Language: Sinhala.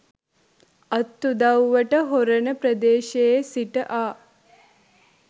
අත් උදව්වට හොරණ ප්‍රදේශයේ සිට ආ